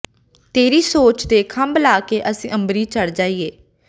ਤੇਰੀ ਸੋਚ ਦੇ ਖੰਭ ਲਾ ਕੇ ਅਸੀਂ ਅੰਬਰੀ ਚੜ ਜਾਈਏ